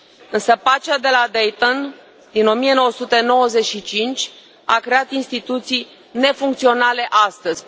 Însă pacea de la Dayton din 1995 a creat instituții nefuncționale astăzi.